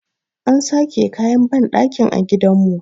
an sake kayan bandakin a gidanmu